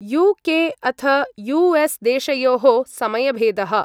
UK. अथ US. देशयोः समयभेदः।